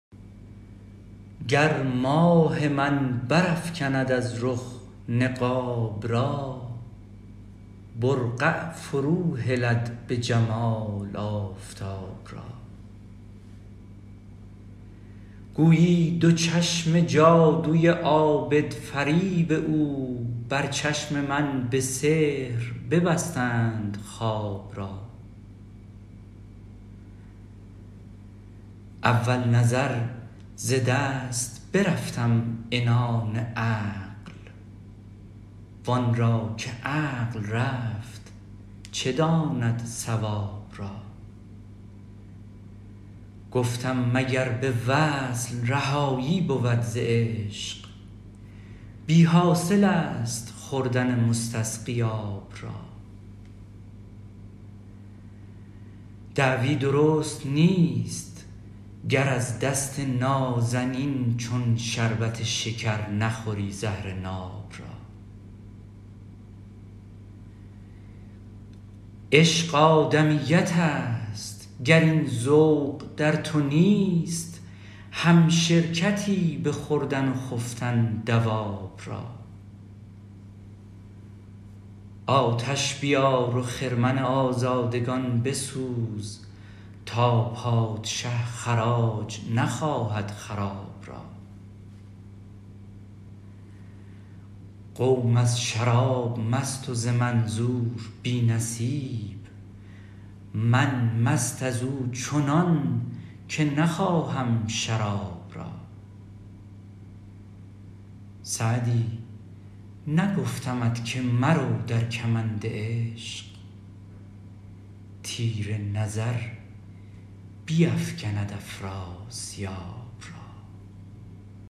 گر ماه من برافکند از رخ نقاب را برقع فروهلد به جمال آفتاب را گویی دو چشم جادوی عابدفریب او بر چشم من به سحر ببستند خواب را اول نظر ز دست برفتم عنان عقل وان را که عقل رفت چه داند صواب را گفتم مگر به وصل رهایی بود ز عشق بی حاصل است خوردن مستسقی آب را دعوی درست نیست گر از دست نازنین چون شربت شکر نخوری زهر ناب را عشق آدمیت است گر این ذوق در تو نیست همشرکتی به خوردن و خفتن دواب را آتش بیار و خرمن آزادگان بسوز تا پادشه خراج نخواهد خراب را قوم از شراب مست و ز منظور بی نصیب من مست از او چنان که نخواهم شراب را سعدی نگفتمت که مرو در کمند عشق تیر نظر بیفکند افراسیاب را